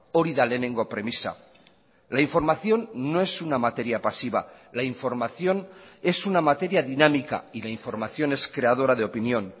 hori da lehenengo premisa la información no es una materia pasiva la información es una materia dinámica y la información es creadora de opinión